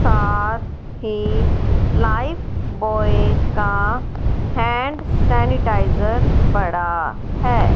साथ एक लाइफबॉय का हैंड सेनीटाइजर पड़ा है।